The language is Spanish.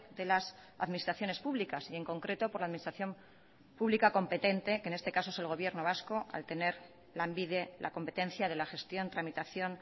de las administraciones públicas y en concreto por la administración pública competente que en este caso es el gobierno vasco al tener lanbide la competencia de la gestión tramitación